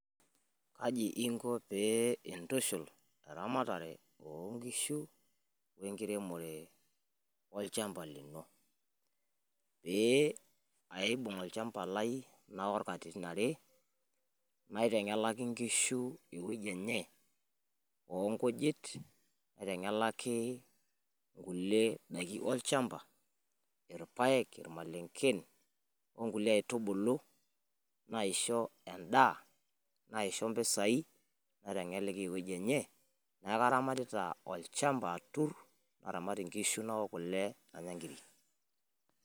Kaji inko pii intushul eramatare oo nkishu we enkiremore to olchamba lino? pee aibung olchamba lai nawoorr katitin are naitengelaki inkishu ewueji enye onkujit. aitengelaki kulie daiki wolchamba, ilpaek, ilmalenken, okulie aitubulu naishoo endaa naishoo mpisai naitengelaki ewueji enye neaku karamatita olchamba naanya sii nkiri.